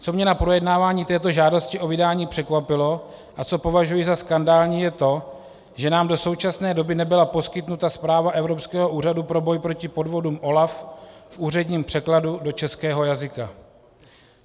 Co mě na projednávání této žádosti o vydání překvapilo a co považuji za skandální, je to, že nám do současné doby nebyla poskytnuta zpráva Evropského úřadu pro boj proti podvodům, OLAF, v úředním překladu do českého jazyka.